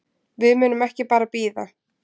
Við munum ekki bara bíða.